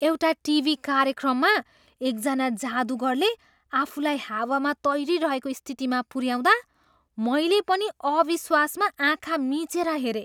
एउटा टिभी कार्यक्रममा एकजना जादुगरले आफूलाई हावामा तैरिरहेको स्थितिमा पुऱ्याउँदा मैले पनि अविश्वासमा आँखा मिचेर हेरेँ।